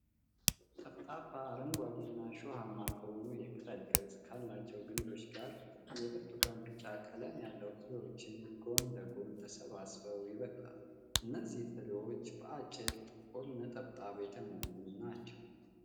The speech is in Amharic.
ጠፍጣፋ፣ አረንጓዴ እና እሾሃማ ከሆኑት የቅጠል ቅርጽ ካላቸው ግንዶች ጋር፣ የብርቱካን-ቢጫ ቀለም ያላቸው ፍሬዎች ጎን ለጎን ተሰባስበው ይበቅላሉ። እነዚህ ፍሬዎች በአጭር፣ ጥቁር ነጠብጣቦች የተሞሉ ናቸው።